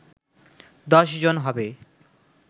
১০ জন হবে